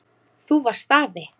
Þú varst afi.